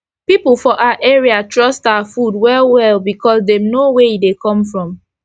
pipu for our area trust our food well well becos dem know were e dey come from